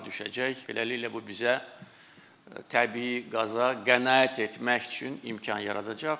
Beləliklə bu bizə təbii qaza qənaət etmək üçün imkan yaradacaq.